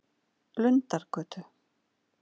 Lundargötu